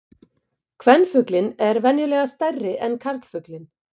Kvenfuglinn er venjulega stærri en karlfuglinn.